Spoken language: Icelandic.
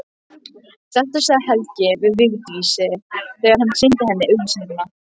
Þetta sagði Helgi við Vigdísi þegar hann sýndi henni auglýsinguna.